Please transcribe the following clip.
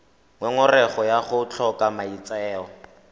ngongorego ya go tlhoka maitseo